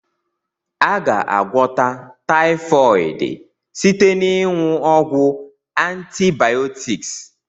A ga- agwọta typhooid site na ịnwu ọgwu antibiotics.